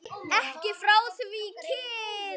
Ekki frá því kyn